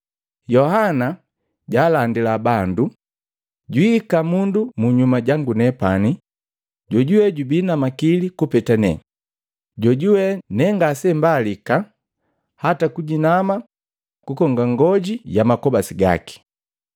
Yohana jalandila bandu, “Jwiika mundu ehenu munyuma jangu nepani jo jubii na makili kupeta ne, jojuwee ne ngasembalika hataa kujinama kukonga ng'oji ya makobasi gaki.